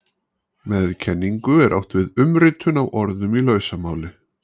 Með kenningu er átt við umritun á orðum í lausamáli.